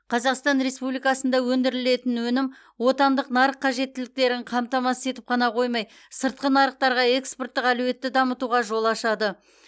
қазақстан республикасында өндірілетін өнім отандық нарық қажеттіліктерін қамтамасыз етіп қана қоймай сыртқы нарықтарға экспорттық әлеуетті дамытуға жол ашады